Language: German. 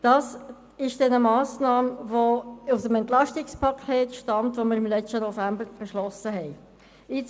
Letzteres ist eine Massnahme aus dem Entlastungspaket, das wir im letzten November beschlossen haben.